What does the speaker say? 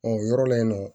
Ɔ o yɔrɔ la yen nɔ